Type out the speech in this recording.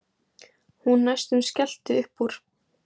Hún næstum skellti upp úr.